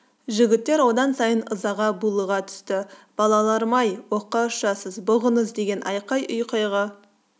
жігіттер одан сайын ызаға булыға түсті балаларым-ай оққа ұшасыз бұғыңыз деген айқай-ұйқайға